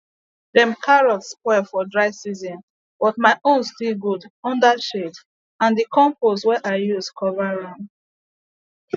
dem carrots spoil for dry season but my own still good under shade and d compost wey i use cover am